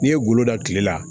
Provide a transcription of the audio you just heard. N'i ye golo da kile la